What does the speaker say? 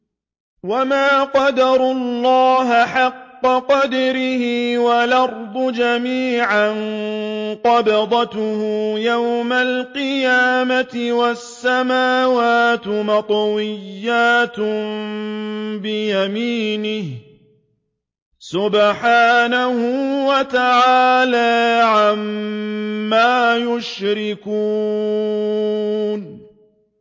وَمَا قَدَرُوا اللَّهَ حَقَّ قَدْرِهِ وَالْأَرْضُ جَمِيعًا قَبْضَتُهُ يَوْمَ الْقِيَامَةِ وَالسَّمَاوَاتُ مَطْوِيَّاتٌ بِيَمِينِهِ ۚ سُبْحَانَهُ وَتَعَالَىٰ عَمَّا يُشْرِكُونَ